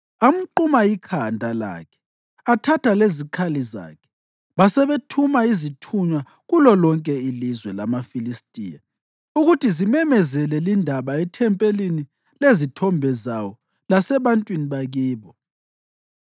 Amquma ikhanda lakhe athatha lezikhali zakhe, basebethuma izithunywa kulolonke ilizwe lamaFilistiya ukuthi zimemezele lindaba ethempelini lezithombe zawo lasebantwini bakibo.